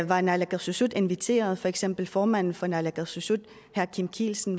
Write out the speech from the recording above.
var naalakkersuisut inviteret var for eksempel formanden for naalakkersuisut herre kim kielsen